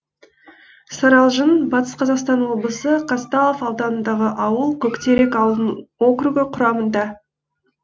саралжын батыс қазақстан облысы казталов ауданындағы ауыл көктерек ауылдық округі құрамында